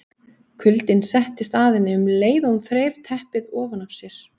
Kuldinn settist að henni um leið og hún þreif teppið ofan af sér.